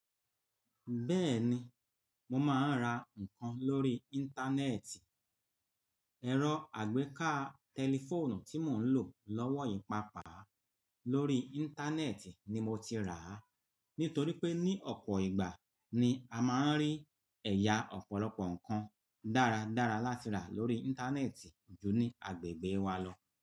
Bẹ́ẹ̀ni, mo máa ń ra nǹkan lórí Íńtánẹ́ẹ̀tì. Ẹ̀rọ àgbéká tẹlifóònù tí mò ń lò lọ́wọ́ yìí papà lórí Íńtánẹ́ẹ̀tì ni mo ti rà á. Nítorí pé ní ọ̀pọ̀ ìgbà ni a máa ń rí ẹ̀yà ọ̀pọ̀lọpọ̀ nǹkan dáradára láti rà lórí Íńtánẹ́ẹ̀tì ju ní agbègbè wa lọ.